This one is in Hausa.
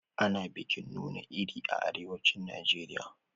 Ana bikin nuna iri a arewacin Najeriya.